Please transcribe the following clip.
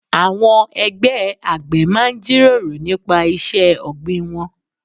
Àwọn ẹgbẹ́ àgbẹ̀ máa ń jíròrò nípa iṣẹ́ ọ̀gbìn wọn.